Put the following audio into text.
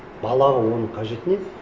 балаға оның қажеті не